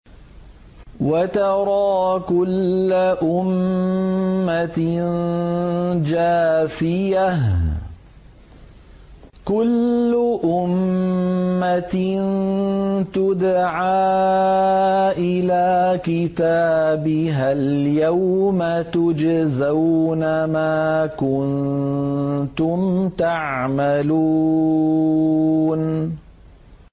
وَتَرَىٰ كُلَّ أُمَّةٍ جَاثِيَةً ۚ كُلُّ أُمَّةٍ تُدْعَىٰ إِلَىٰ كِتَابِهَا الْيَوْمَ تُجْزَوْنَ مَا كُنتُمْ تَعْمَلُونَ